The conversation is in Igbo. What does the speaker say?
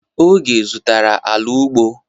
Oge zụtara ala ugbo.